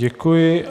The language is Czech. Děkuji.